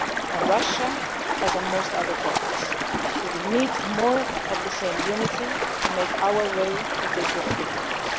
on the same page. On Russia, as on most other topics, we will need more of the same unity to make our way through these